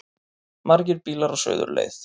Margir bílar á suðurleið